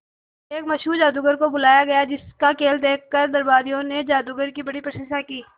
एक मशहूर जादूगर को बुलाया गया जिस का खेल देखकर दरबारियों ने जादूगर की बड़ी प्रशंसा की